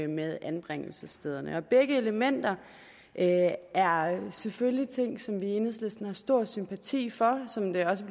med anbringelsesstederne begge elementer er selvfølgelig ting som vi i enhedslisten har stor sympati for og som det også